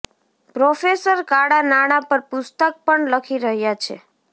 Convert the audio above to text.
professor કાળા નાણાં પર પુસ્તક પણ લખી રહ્યા છે